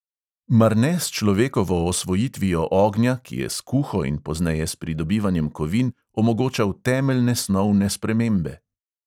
Mar ne s človekovo osvojitvijo ognja, ki je s kuho in pozneje s pridobivanjem kovin omogočal temeljne snovne spremembe?